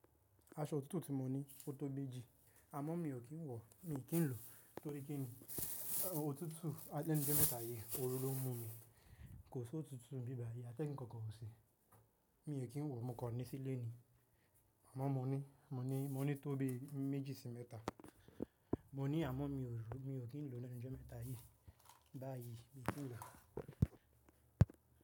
Aṣọ òtútù ti mọ ní ó tó bí eéjì àmọ́ mi ò kí ń wọ̀, mi ò kí ń lò tó rí kini? Òtútù àlè méta yìí, oru ló ń mú mi, kò si òtútù nbíbàyí, atẹ́gun kankan o kọkọ ọ̀ ṣe. Mi ò kí ń wọ̀, mo kọ ní sílé ni. Àmọ́ mo ní, mo ní, mo ní tó bí méjì sí mẹ́ta. Mo ní àmọ́ mi ò rò, mi ò kí ń lenu ijo méta yìí. Bá yí mi ò kí ń lọ.